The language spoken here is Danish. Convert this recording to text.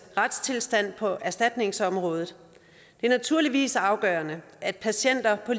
retstilstand på erstatningsområdet det er naturligvis afgørende at patienter på